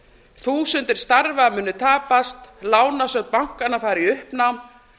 þúsundir starfa munu tapast lánasjóðir bankanna fara í uppnám